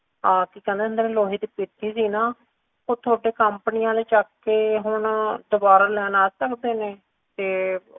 ਕਿ ਕਹਿੰਦੇ ਹੁੰਦੇ ਨੇ ਲੋਹੇ ਦੀ ਪੇਟੀ ਜਹੀ ਨਾ ਉਹ ਥੋੜੇ company ਆਲੇ ਚਾਕ ਕੇ ਹੁਣ ਦੁਬਾਰਾ ਲੈਣ ਆ ਸਕਦੇਨੇ ਤੇ